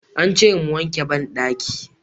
Aka ce mu wanke bandaki.